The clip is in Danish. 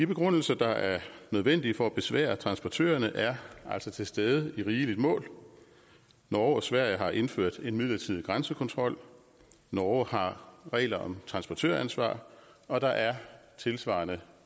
begrundelser der er nødvendige for at besvære transportørerne er altså til stede i rigeligt mål norge og sverige har indført midlertidig grænsekontrol norge har regler om transportøransvar og der er tilsvarende